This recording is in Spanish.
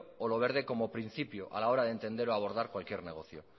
o lo verde como principio a la hora de entender o abordar cualquier negocio